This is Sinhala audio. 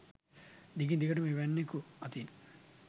දිගින් දිගට ම එවැන්නෙකු අතින්